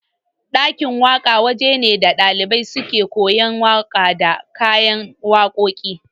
Ɗakin waka waje ne da ɗalibai suke koyan waƙa da kayan waƙoƙi